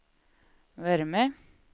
värme